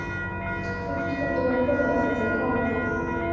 Fólkið var byrjað að borða þegar þeir komu inn.